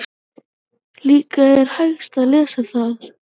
Líka er hægt að lesa þar